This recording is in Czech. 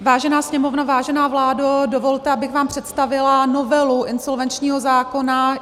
Vážená Sněmovno, vážená vládo, dovolte, abych vám představila novelu insolvenčního zákona.